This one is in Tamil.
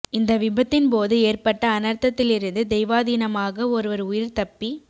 இந்த விபத்தின் போது ஏற்பட்ட அனர்த்தத்திலிருந்து தெய்வாதீனமாக ஒருவர் உயிர் தப்பி